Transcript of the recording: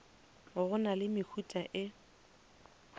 go na le mehuta e